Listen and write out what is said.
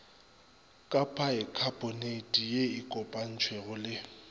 ka paekhaponeiti ye kopantšwego le